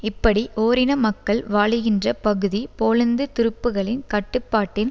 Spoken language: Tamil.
இப்படி ஓரின மக்கள் வாழுகின்ற பகுதி போலந்து துருப்புக்களின் கட்டுப்பாட்டின்